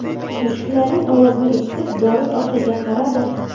Mushuklarning ovozini eshitib, Doris orqaga qaradi.